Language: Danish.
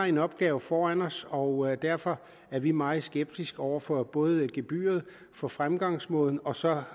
en opgave foran os og derfor er vi meget skeptiske over for både gebyret og for fremgangsmåden og så